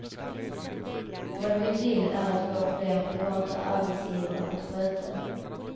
Vad vi vill är att få fler privata arbetsgivare att sköta den.